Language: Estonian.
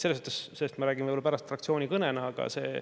Sellest ma räägin võib-olla pärast fraktsiooni kõnes.